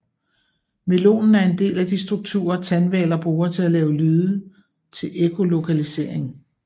Melonen er en del af de strukturer tandhvaler bruger til at lave lyde til ekkolokalisering